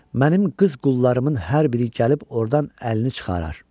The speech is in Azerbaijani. Mənim qız qullarımın hər biri gəlib ordan əlini çıxarar.